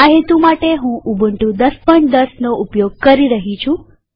આ હેતુ માટેહું ઉબુન્ટુ ૧૦૧૦નો ઉપયોગ કરી રહી છું